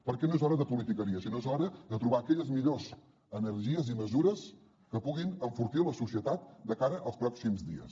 perquè no és hora de politiqueria sinó que és hora de trobar aquelles millors energies i mesures que puguin enfortir la societat de cara als pròxims dies